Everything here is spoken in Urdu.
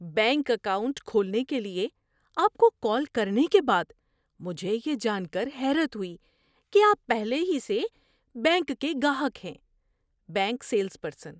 بینک اکاؤنٹ کھولنے کے لیے آپ کو کال کرنے کے بعد مجھے یہ جان کر حیرت ہوئی کہ آپ پہلے ہی سے بینک کے گاہک ہیں۔ (بینک سیلز پرسن)